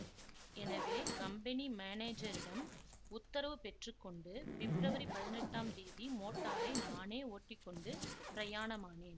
எனவே கம்பெனி மானேஜரிடம் உத்தரவு பெற்று கொண்டு பிப்ரவரி பதினெட்டாம் தேதி மோட்டாரை நானே ஓட்டி கொண்டு பிரயாணமானேன்